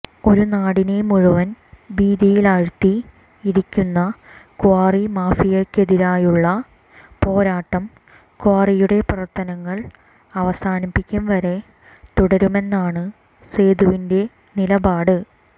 ഒരു നാടിനെ മുഴുവൻ ഭീതിയിലാഴ്ത്തിയിരിക്കുന്ന ക്വാറി മാഫിയക്കെതിരായുള്ള പോരാട്ടം ക്വാറിയുടെ പ്രവർത്തനങ്ങൾ അവസാനിപ്പിക്കും വരെ തുടരുമെന്നാണ് സേതുവിൻറെ നിലപാട്